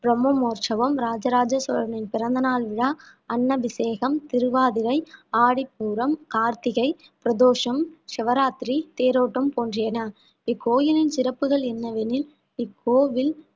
பிரம்மோற்சவம் இராஜ ராஜ சோழனின் பிறந்த நாள் விழா அன்னபிஷேகம் திருவாதிரை ஆடிப்பூரம் கார்த்திகை பிரதோஷம் சிவராத்திரி தேரோட்டம் போன்றியன இக்கோயிலின் சிறப்புகள் என்னவெனில் இக்கோவில்